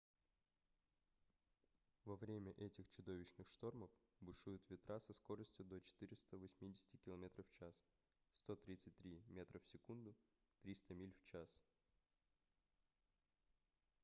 во время этих чудовищных штормов бушуют ветра со скоростью до 480 км/ч 133 м/с; 300 миль в час